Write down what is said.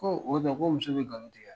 Ko o kuma ko muso bi galon tigɛ a?